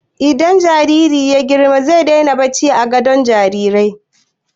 Idan jariri ya yi girma zai daina barci a gadon jarirai.